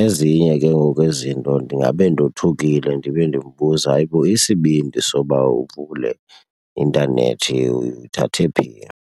Ezinye ke ngoku izinto ndingabe ndothukile ndibe ndimbuza, hayibo isibindi soba uvule intanethi uyithathe phi?